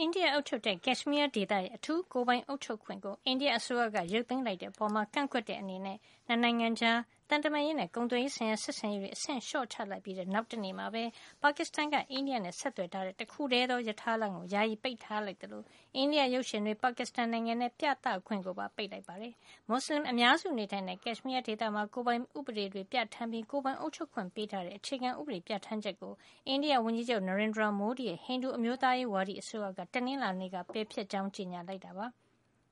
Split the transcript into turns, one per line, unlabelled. အိန္ဒိယအုပ်ချုပ်တဲ့ ကက်ရှ်မီးယားဒေသရဲ့ အထူးကိုယ်ပိုင်အုပ်ချုပ်ခွင့်ကို အိန္ဒိယအစိုးရက ရုပ်သိမ်းလိုက်တဲ့အပေါ် ကန့်ကွက်တဲ့အနေနဲ့ နှစ်နိုင်ငံကြား သံတမန်ရေးနဲ့ ကုန်သွယ်ရေးဆိုင်ရာ ဆက်ဆံရေးတွေကို အဆင့်လျှော့ချလိုက်ပြီး နောက်တနေ့မှာပဲ ပါကစ္စတန်က အိန္ဒိယနဲ့ ဆက်သွယ် ထားတဲ့ တခုတည်းသော ရထားလမ်းကို ယာယီပိတ်ထားလိုက်သလို အိန္ဒိယရုပ်ရှင်တွေ ပါကစ္စတန်နိုင်ငံထဲ ပြသခွင့်ကိုပါ ပိတ်ပစ်လိုက်ပါတယ်။ မွတ်ဆလင်အများစုနေထိုင်တဲ့ ကက်ရှ်မီးယားဒေသမှာ ကိုယ်ပိုင်ဥပဒေတွေပြဌာန်းပြီး ကိုယ်ပိုင်အုပ်ချုပ်ခွင့် ပေးထားတဲ့ အခြေခံ ဥပဒေပြဌာန်းချက်ကို အိန္ဒိယဝန်ကြီးချုပ် Nerendra Modi ရဲ့ ဟိန္ဒူအမျိုးသားရေးဝါဒီ အစိုးရက တနင်္လာနေ့က ပယ်ဖျက်ကြောင်း ကြေညာခဲ့တာပါ။